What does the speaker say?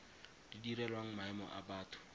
di direlwang maemo a batho